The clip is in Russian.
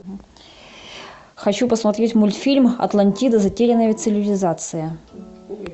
хочу посмотреть мультфильм атлантида затерянная цивилизация